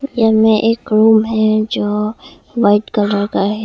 यहां में एक रूम है जो वाइट कलर का है।